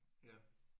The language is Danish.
Ja